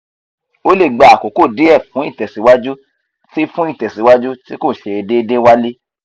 o le gba akoko die fun itesiwaju ti fun itesiwaju ti ko se deede wale